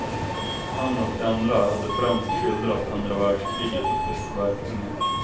Han och de andra hade främst skildrat andra världskriget och dess verkningar.